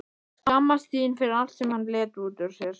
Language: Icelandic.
Skammast sín fyrir allt sem hann lét út úr sér.